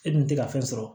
E dun tɛ ka fɛn sɔrɔ